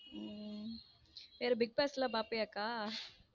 உம் சேரி bigboss லம் பாபியா அக்கா?